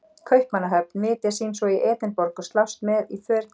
Kaupmannahöfn, vitja sín svo í Edinborg og slást með í för til